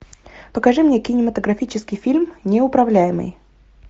покажи мне кинематографический фильм неуправляемый